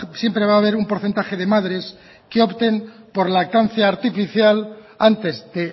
siempre va a haber un porcentaje de madres que opten por lactancia artificial antes de